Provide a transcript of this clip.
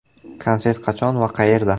Konsert qachon va qayerda?